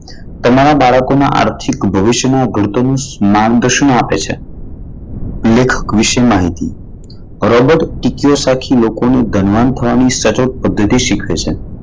તમારા બાળકો ના આર્થિક ભવિષ્યમાં એનું માર્ગદર્શન આપે છે. લેખક વિશે માહિતી બરોબર સિત્તેર ટકા લોકો ની ધનવાન થવાની પદ્ધતિ શીખે છે.